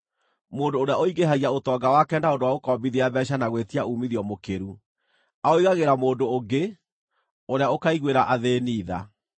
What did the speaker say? Mũndũ ũrĩa ũingĩhagia ũtonga wake na ũndũ wa gũkombithia mbeeca na gwĩtia uumithio mũkĩru aũigagĩra mũndũ ũngĩ, ũrĩa ũkaiguĩra athĩĩni tha.